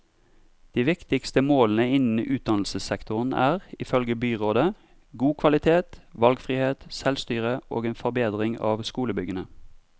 De viktigste målene innen utdannelsessektoren er, ifølge byrådet, god kvalitet, valgfrihet, selvstyre og en forbedring av skolebyggene.